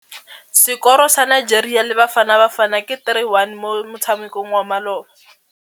Sekôrô sa Nigeria le Bafanabafana ke 3-1 mo motshamekong wa malôba.